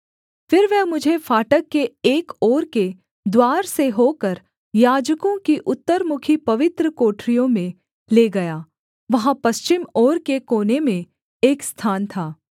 फिर वह मुझे फाटक के एक ओर के द्वार से होकर याजकों की उत्तरमुखी पवित्र कोठरियों में ले गया वहाँ पश्चिम ओर के कोने में एक स्थान था